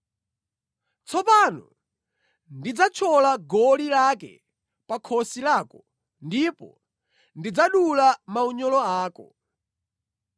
Tsopano ndidzathyola goli lake pa khosi lako ndipo ndidzadula maunyolo ako.”